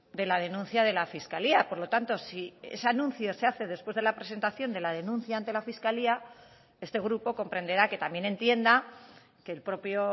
de la denuncia de la fiscalía por lo tanto si ese anuncio se hace después de la presentación de la denuncia ante la fiscalía este grupo comprenderá que también entienda que el propio